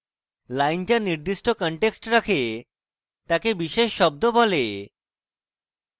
lines যা নির্দিষ্ট context রাখে তাকে বিশেষ শব্দ বলে